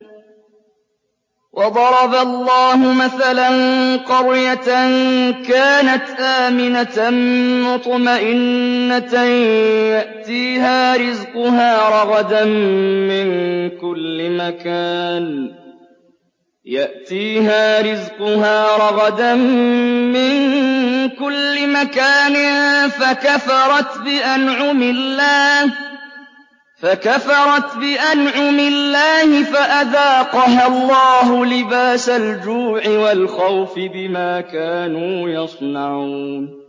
وَضَرَبَ اللَّهُ مَثَلًا قَرْيَةً كَانَتْ آمِنَةً مُّطْمَئِنَّةً يَأْتِيهَا رِزْقُهَا رَغَدًا مِّن كُلِّ مَكَانٍ فَكَفَرَتْ بِأَنْعُمِ اللَّهِ فَأَذَاقَهَا اللَّهُ لِبَاسَ الْجُوعِ وَالْخَوْفِ بِمَا كَانُوا يَصْنَعُونَ